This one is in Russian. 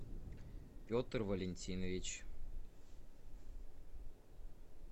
петр валентинович